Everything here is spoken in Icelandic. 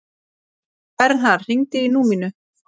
Vernharð, hringdu í Númínu.